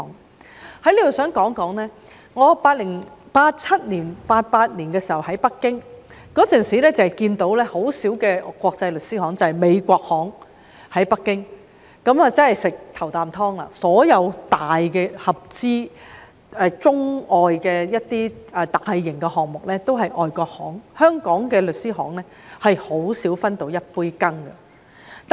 我想在此說說，我1987年、1988年時在北京，當時看不到多少間國際律師行，北京只有美國律師行，他們吃了"頭啖湯"，所有中外合資的大型項目也是由外國律師行負責，香港律師行很少分到一杯羹。